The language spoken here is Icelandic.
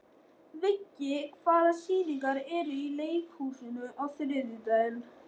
Viggi, hvaða sýningar eru í leikhúsinu á þriðjudaginn?